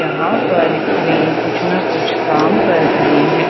यहां पर एक क्रेन कुछ ना कुछ काम कर रही है।